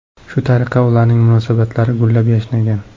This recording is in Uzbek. Shu tariqa ularning munosabatlari gullab-yashnagan.